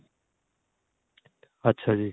ਅੱਛਾ ਜੀ